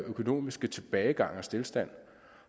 økonomiske tilbagegang og stilstand